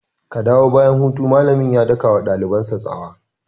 Ka dawo bayan hutu!' malamin ya daka wa dalibansa tsawa.